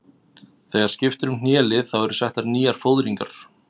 Þegar skipt er um hnélið þá eru settar nýjar fóðringar.